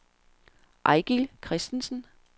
Eigil Christensen